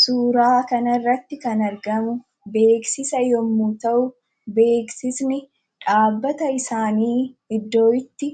Suuraa kana irratti kan argamu beeksisa yommuu ta'u, beeksisni dhaabbata isaanii iddoo itti